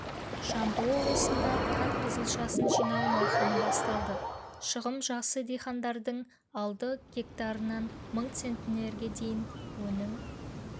жамбыл облысында қант қызылшасын жинау науқаны басталды шығым жақсы дихандардың алды гектарынан мың центнерге дейін өнім